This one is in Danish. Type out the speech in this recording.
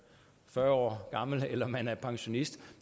fyrre år gammel eller man er pensionist